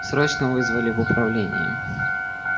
срочно вызвали в управление